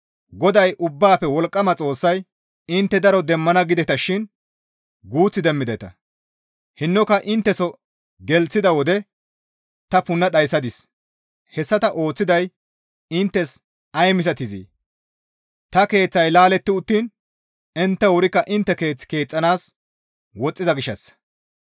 GODAY Ubbaafe Wolqqama Xoossay, «Intte daro demmana gidetashin guuth demmideta; hinnoka intteso gelththida wode ta punna dhayssadis. Hessa ta ooththiday inttes ay misatizee? Ta keeththay laaletti uttiin intte wurikka intte keeth keexxanaas woxxiza gishshassa.